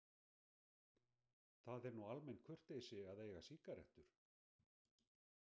Það er nú almenn kurteisi að eiga sígarettur.